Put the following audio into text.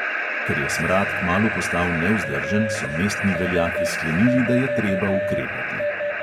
Ker je smrad kmalu postal nevzdržen, so mestni veljaki sklenili, da je treba ukrepati.